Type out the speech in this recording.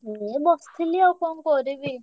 ଏଇ ବସଥିଲି ଆଉ କଣ କରିବି।